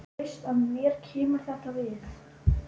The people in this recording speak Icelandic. Þú veist að mér kemur þetta við.